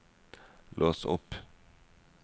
lås opp